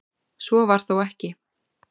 Svo var þó ekki.